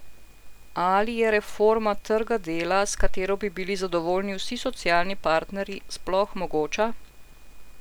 Ali je reforma trga dela, s katero bi bili zadovoljni vsi socialni partnerji, sploh mogoča?